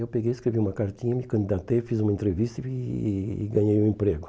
Eu peguei, escrevi uma cartinha, me candidatei, fiz uma entrevista e e ganhei um emprego.